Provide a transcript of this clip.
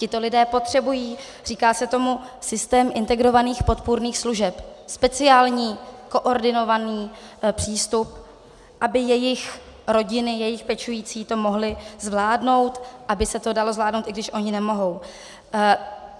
Tito lidé potřebují - říká se tomu systém integrovaných podpůrných služeb, speciální koordinovaný přístup, aby jejich rodiny, jejich pečující to mohli zvládnout, aby se to dalo zvládnout, i když oni nemohou.